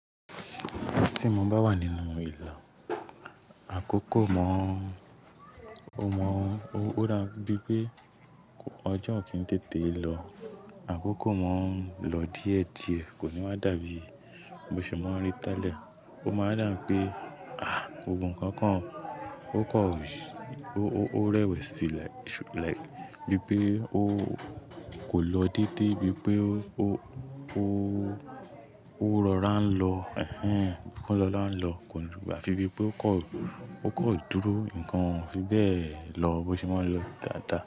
Tí mo bá wà nínú ìlà, àkókò mọ, o mọ, o rà bíi pé ọjọ́ kì í tètè lọ. Àkókò mọ ń lọ díẹ̀díẹ̀, kò ní wá dà bí mo ṣe máa ń rí tẹ́lẹ̀. O máa dà bí pé, ah, gbogbo ǹkan kan o kan ó kọ̀, ó rẹwẹ̀si like, like bíi pé ó kò lọ déédé bíi pé ó, ó, ó rọra ń lọ. Ẹ̀hẹn, ó rọra ń lọ, àfi bíi pé ó kọ̀, ó kọ̀ dúró nǹkan fi bẹ́ẹ̀ lọ bó ti máa ń lọ dáadáa.